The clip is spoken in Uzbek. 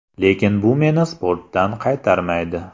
Lekin bu meni sportdan qaytarmaydi.